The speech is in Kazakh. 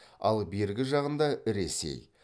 ал бергі жағында ресей